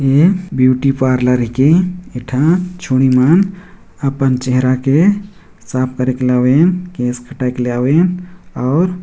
ये beauty parlour के एकठन छोरी मन पन चेहरा के साफ करे के लावे केस खटक लावे और--